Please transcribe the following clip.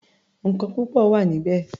Nǹkan púpọ̀ wà níbẹ̀.